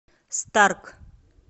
старк